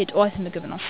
የጠዋት ምግብ ነው።